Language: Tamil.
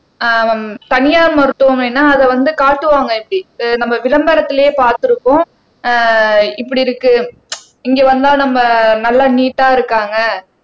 அஹ் தனியார் மருத்துவமனைன்னா அதை வந்து காட்டுவாங்க இப்படி அஹ் நம்ம விளம்பரத்திலேயே பார்த்திருக்கோம் ஆஹ் இப்படி இருக்கு இங்க வந்தா நம்ம நல்லா நீட்டா இருக்காங்க